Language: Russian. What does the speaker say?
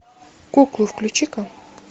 куклы включи ка